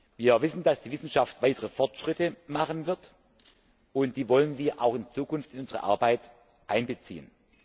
Wir wissen, dass die Wissenschaft weitere Fortschritte machen wird, und die wollen wir auch in Zukunft in unsere Arbeit einbeziehen.